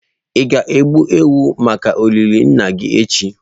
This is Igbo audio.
Anyi o ga-egbu ewu a maka olili nna gi echi?